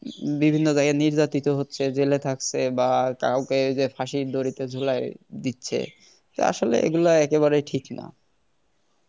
বিভিন্ন জায়গায় নির্যাতিত হচ্ছে জেলে থাকছে বা কাউকে এই যে ফাঁসি দড়িতে ঝোলাই দিচ্ছে তো আসলে এগুলো একেবারেই ঠিক না